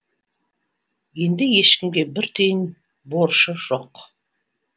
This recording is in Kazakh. енді ешкімге бір тиын борышы жоқ